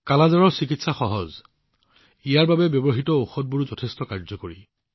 কালা আজাৰৰ চিকিৎসা সহজ ইয়াৰ বাবে ব্যৱহৃত ঔষধবোৰো যথেষ্ট ফলদায়ী